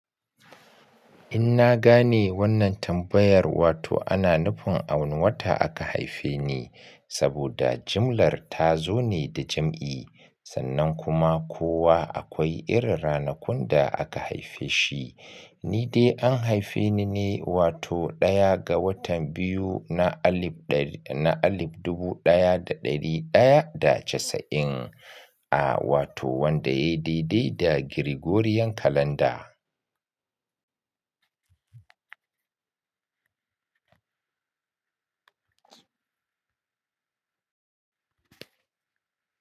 In na gane wannan tambayar, wato ana nufin a wane wata aka haife ni saboda jimlar ta zo ne da jim'i sannan kuma kowa akwai irin ranakun da aka haife shi. Ni dai an haife ni ne wato ɗaya ga watan biyu na alif dar-- na alif dubu ɗaya da ɗari ɗaya da casa'in, a wato wanda yayi daidai da Gregorian kalanda.